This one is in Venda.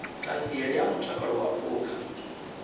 ṱhanziela ya mutakalo wa phukha